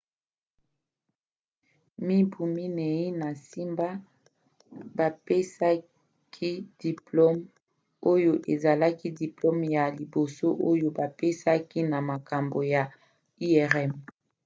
mibu minei na nsima bapesaki diplome oyo ezalaki diplome ya liboso oyo bapesaki na makambo ya irm